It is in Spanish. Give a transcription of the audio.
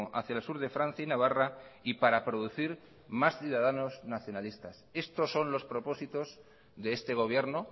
hacia el sur de francia y navarra y para producir más ciudadanos nacionalistas estos son los propósitos de este gobierno